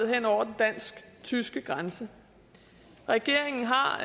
hen over den dansk tyske grænse regeringen har